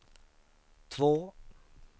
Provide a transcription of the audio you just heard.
två